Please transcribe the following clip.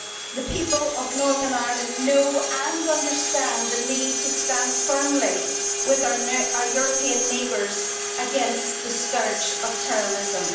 The people of Northern Ireland know and understand the need to stand firmly with our European neighbours against the scourge of terrorism.